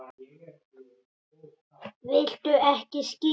Viltu ekki skyr?